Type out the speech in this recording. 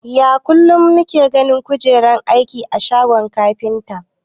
Ya kulun nike ganin kujeran aiki a shagon kafinta?